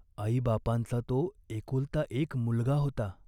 आईबापांचा तो एकुलता एक मुलगा होता.